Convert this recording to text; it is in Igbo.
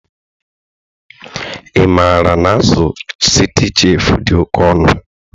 Ị maara na azụ Citicef dị oke ọnụ?